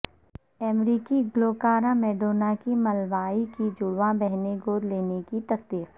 امریکی گلوکارہ میڈونا کی ملاوی کی جڑواں بہنیں گود لینے کی تصدیق